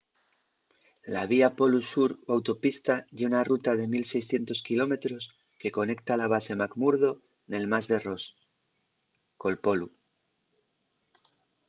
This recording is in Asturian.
la vía polu sur o autopista ye una ruta de 1 600 km que conecta la base mcmurdo nel mar de ross col polu